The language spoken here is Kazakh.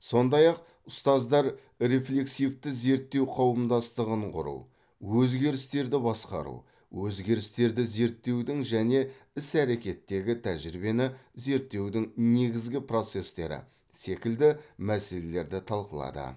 сондай ақ ұстаздар рефлексивті зерттеу қауымдастығын құру өзгерістерді басқару өзгерістерді зерттеудің және іс әрекеттегі тәжірибені зерттеудің негізгі процестері секілді мәселерді талқылады